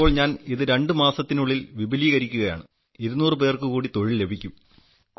ഇപ്പോൾ ഞാൻ ഇത് രണ്ട് മാസത്തിനുള്ളിൽ വിപുലീകരിക്കുകയാണ് 200 പേർക്ക് കൂടി തൊഴിൽ ലഭിക്കും